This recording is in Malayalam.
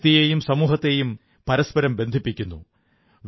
വ്യക്തിയെയും സമൂഹത്തെയും പരസ്പരം ബന്ധിപ്പിക്കുന്നു